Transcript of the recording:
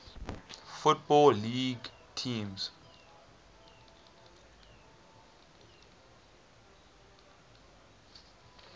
football league teams